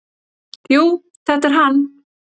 """Jú, þetta er hann."""